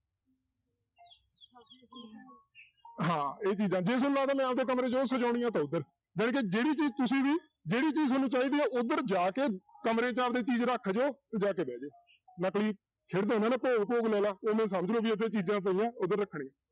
ਹਾਂ ਇਹ ਚੀਜ਼ਾਂ ਜੇ ਤੁਹਾਨੂੰ ਲੱਗਦਾ ਮੈਂ ਆਪਦੇ ਕਮਰੇ 'ਚ ਉਹ ਸਜਾਉਣੀਆਂ ਤਾਂ ਉੱਧਰ ਜਾਣੀਕਿ ਜਿਹੜੀ ਚੀਜ਼ ਤੁਸੀਂ ਵੀ ਜਿਹੜੀ ਚੀਜ਼ ਤੁਹਾਨੂੰ ਚਾਹੀਦੀ ਹੈ ਉੱਧਰ ਜਾ ਕੇ ਕਮਰੇ 'ਚ ਆਪਦੇ ਚੀਜ਼ ਰੱਖ ਦਿਓ ਤੇ ਜਾ ਕੇ ਬਹਿ ਜਾਓ ਖੇਡਦੇ ਹੁੰਦੇ ਨਾ ਭੋਗ ਭੋਗ ਲੈ ਲਾ ਉਵੇਂ ਹੀ ਸਮਝ ਲਓ ਵੀ ਉੱਥੇ ਚੀਜ਼ਾਂ ਪਈਆਂ ਉੱਧਰ ਰੱਖਣੀ,